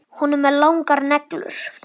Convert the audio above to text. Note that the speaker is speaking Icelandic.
Hún er með langar neglur.